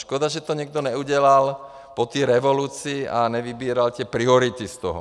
Škoda, že to někdo neudělal po té revoluci a nevybíral ty priority z toho.